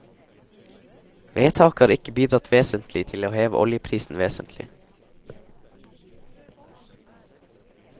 Vedtaket har ikke bidratt vesentlig til å heve oljeprisen vesentlig.